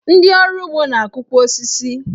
Ndị ọrụ ugbo ga na-akụkwu osisi.